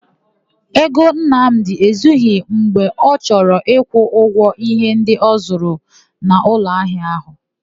Ego Nnamdị ezughi mgbe ọ chọrọ ịkwụ ụgwọ íhé ndị ọ zụrụ n'ụlọahịa áhụ̀.